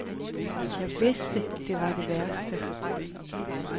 Jeg vidste det var det værste.